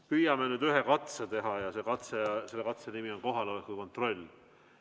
Püüame nüüd ühe katse teha ja selle katse nimi on kohaloleku kontroll.